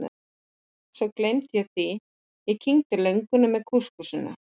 Svo gleymdi ég því, ég kyngdi lönguninni með kúskúsinu.